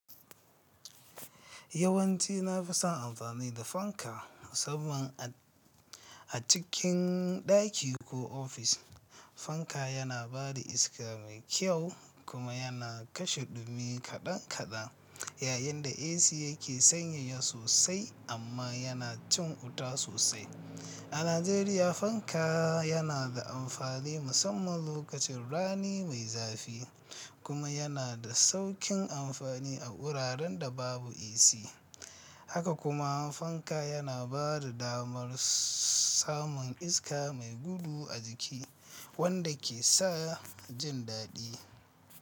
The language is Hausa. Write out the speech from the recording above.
Yawanci na fi son amfani da fanka musamman a a cikin ɗaki ko office. Fanka yana ba da iska mai kyau kuma yana kashe ɗumi kaɗan kaɗan. Yayinda AC yake sanyaya sosai amma yana cin wuta sosai. A Najeriya, fanka yana da amfani musamman lokacin rani me zafi kuma yana da sauƙin amfani a wuraren da babu AC. Haka kuma fanka yana ba da damar samun iska mai gudu a jiki wanda ke sa jin daɗi.